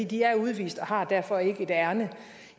de er udvist og har derfor ikke et ærinde